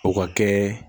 O ka kɛ